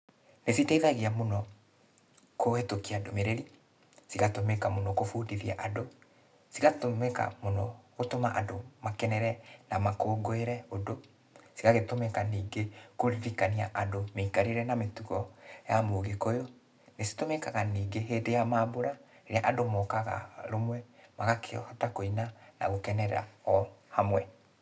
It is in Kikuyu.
Nĩciteithagia mũno kũhĩtũkia ndũmĩrĩri, cigatũmĩka mũno kũbundithia andũ, cigatũmĩka mũno gũtũma andũ makenere na makũngũĩre ũndũ. Cigagĩtũmĩka ningĩ kũririkania andũ mĩikarĩre na mĩtugo ya Mũgĩkũyũ. Nĩcitũmĩkaga ningĩ hĩndĩ ya mambũra, rĩrĩa andũ mokaga rũmwe, magakĩhota kũina na gũkenerera o hamwe.